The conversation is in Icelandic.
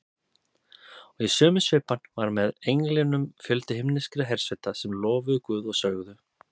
Og í sömu svipan var með englinum fjöldi himneskra hersveita sem lofuðu Guð og sögðu: